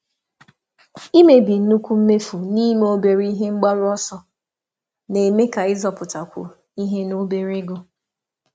Ịkewa nnukwu mmefu n'ime obere ebumnuche na-eme na-eme ka nchekwa dị mfe na ego dị ntakịrị.